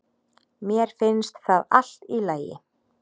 Mér finnst það allt í lagi